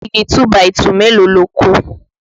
Igi 2 by 2 mélòó lo kó?